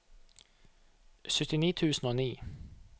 syttini tusen og ni